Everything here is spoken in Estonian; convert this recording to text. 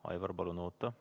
Aivar, palun oota!